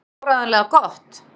Var það áreiðanlega gott?